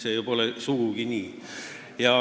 See pole sugugi nii.